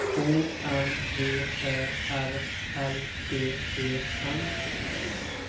O M V Ä R L D E N